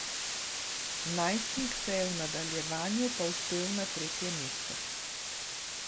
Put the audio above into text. Najstnik se je v nadaljevanju povzpel na tretje mesto.